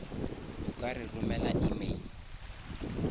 o ka re romela email